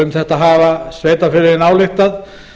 um þetta hafa sveitarfélögin ályktað